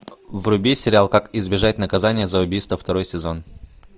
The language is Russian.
вруби сериал как избежать наказания за убийство второй сезон